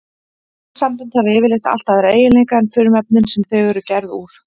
Efnasambönd hafa yfirleitt allt aðra eiginleika en frumefnin sem þau eru gerð úr.